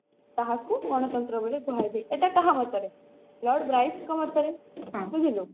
ତାହାକୁ ଗଣତନ୍ତ୍ର ବୋଲି କୁହାଯାଏ ଏଟା କାହା ମତରେ lord ବ୍ରାଇସ ଙ୍କ ମତରେ ବୁଝିଲୁ